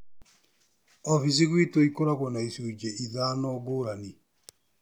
Oficinĩ gwitũ ikoragwo na icunjĩ ithano ngũrani.